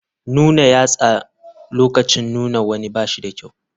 Nuna yatsa lokacin nuna wani ba shi da kyau.